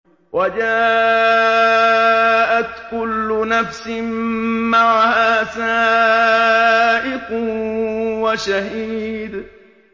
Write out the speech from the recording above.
وَجَاءَتْ كُلُّ نَفْسٍ مَّعَهَا سَائِقٌ وَشَهِيدٌ